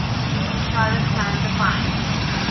charlotte sound defines